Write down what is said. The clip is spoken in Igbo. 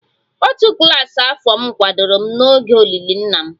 Òtù klas afọ m kwadoro m n'oge olili nna m